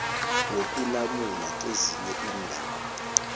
wokulamula kezinye iindaba